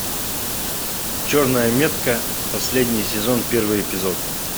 черная метка последний сезон первый эпизод